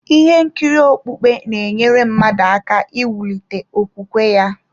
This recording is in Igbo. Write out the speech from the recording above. Ihe nkiri okpukpe na-enyere mmadụ aka iwulite okwukwe ya.